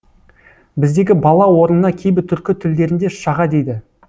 біздегі бала орнына кейбір түркі тілдерінде шаға дейді